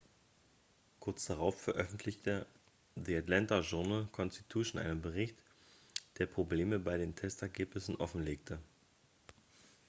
kurz darauf veröffentlichte the atlanta journal-constitution einen bericht der probleme bei den testergebnissen offenlegte.x